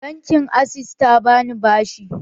Bankin access ta bani bashi